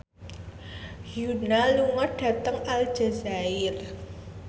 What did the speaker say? Yoona lunga dhateng Aljazair